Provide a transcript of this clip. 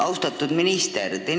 Austatud minister!